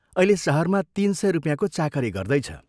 Pass गरेर अहिले शहरमा तीन सय रुपियाँको चाकरी गर्दैछ।